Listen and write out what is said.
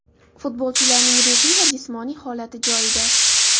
Futbolchilarning ruhiy va jismoniy holati joyida”.